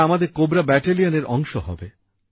এঁরা আমাদের কোবরা ব্যাটেলিয়ানের অংশ হবে